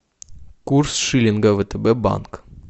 курс шиллинга втб банк